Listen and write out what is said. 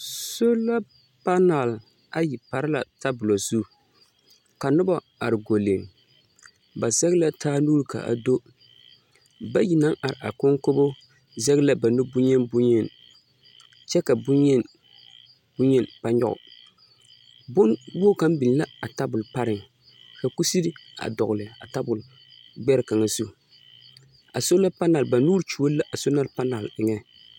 Sola panal ayi pare la tabola zu ka noba are gɔlle. Ba zɛge la taa nuuri ka do bayi naŋ are a koŋ koŋkobo zɛge la ba nu boŋyeni boŋyeni ba nyɔge. Bone wogi kaŋ biŋ la a tabol pareŋ ka kusiri a d2gel a tabol gbɛre kaŋa zu. A sola panal, ba nuuri kyoɔre la a sola panal eŋŋ.